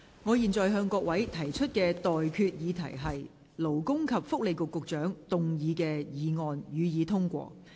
我現在向各位提出的待決議題是：勞工及福利局局長動議的議案，予以通過。